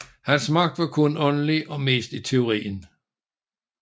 Hans magt var kun åndelig og mest i teorien